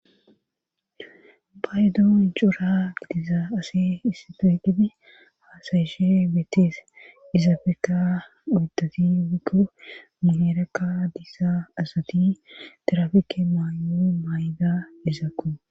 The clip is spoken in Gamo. baydon cura gidiza ase issato qidi haasayishe beettees izaabekka oitati wikko muherekka diisa asati terafike maayo maay7da izaakko